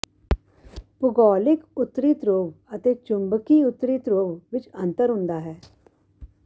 ਭੂਗੋਲਿਕ ਉੱਤਰੀ ਧਰੁਵ ਅਤੇ ਚੁੰਬਕੀ ਉੱਤਰੀ ਧਰੁਵ ਵਿਚ ਅੰਤਰ ਹੁੰਦਾ ਹੈ